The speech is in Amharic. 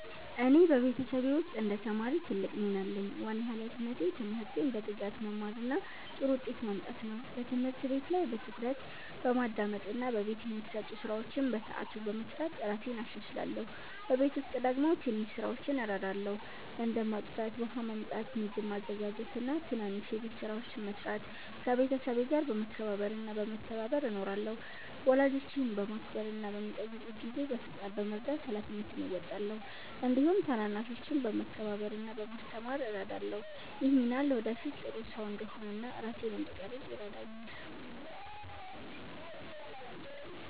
እኔ በቤተሰቤ ውስጥ እንደ ተማሪ ትልቅ ሚና አለኝ። ዋና ሃላፊነቴ ትምህርቴን በትጋት መማር እና ጥሩ ውጤት ማምጣት ነው። በትምህርት ቤት ላይ በትኩረት በማዳመጥ እና በቤት የሚሰጡ ስራዎችን በሰዓቱ በመስራት እራሴን እሻሻላለሁ። በቤት ውስጥ ደግሞ ትንሽ ስራዎችን እረዳለሁ፣ እንደ ማጽዳት፣ ውሃ ማመጣት፣ ምግብ ማዘጋጀት እና ትናንሽ የቤት ስራዎችን መስራት። ከቤተሰቤ ጋር በመከባበር እና በመተባበር እኖራለሁ። ወላጆቼን በማክበር እና በሚጠይቁት ጊዜ በፍጥነት በመርዳት ሃላፊነቴን እወጣለሁ። እንዲሁም ታናናሾችን በመከባበር እና በማስተማር እረዳለሁ። ይህ ሚና ለወደፊት ጥሩ ሰው እንድሆን እና ራሴን እንድቀርፅ ይረዳኛል።